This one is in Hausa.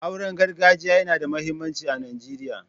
Auren gargajiya yana da muhimmanci a Najeriya.